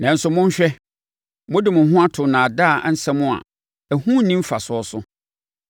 Nanso monhwɛ, mode mo ho ato nnaadaa nsɛm a ɛho nni mfasoɔ so.